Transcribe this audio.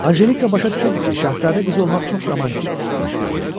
Anjelika başa düşürdü ki, şahzadə qızı olmaq çox romantik məşğuliyyətdir.